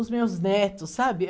Os meus netos, sabe?